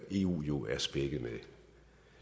eu jo er spækket med